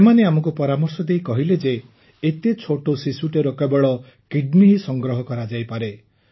ସେମାନେ ଆମକୁ ପରାମର୍ଶ ଦେଇ କହିଲେ ଯେ ଏତେ ଛୋଟ ଶିଶୁଟିର କେବଳ କିଡନି ହିଁ ସଂଗ୍ରହ କରାଯାଇପାରେ